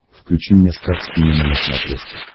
включи мне стар синема на смотрешке